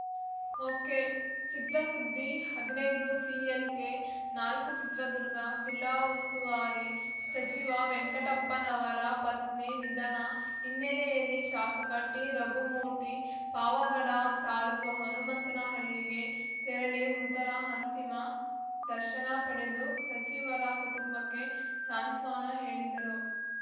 ಒಕೆಚಿತ್ರಸುದ್ದಿ ಹದಿನೈದುಸಿಎಲ್‌ಕೆನಾಲ್ಕು ಚಿತ್ರದುರ್ಗ ಜಿಲ್ಲಾ ಉಸ್ತುವಾರಿ ಸಚಿವ ವೆಂಕಟಪ್ಪನವರ ಪತ್ನಿ ನಿಧನ ಹಿನ್ನೆಲ್ಲೆಯಲ್ಲಿ ಶಾಸಕ ಟಿರಘುಮೂರ್ತಿ ಪಾವಗಡ ತಾಲೂಕು ಹನುಮಂತನಹಳ್ಳಿಗೆ ತೆರಳಿ ಮೃತರ ಅಂತಿಮ ದರ್ಶನ ಪಡೆದು ಸಚಿವರ ಕುಟುಂಬಕ್ಕೆ ಸಾಂತ್ವಾನ ಹೇಳಿದರು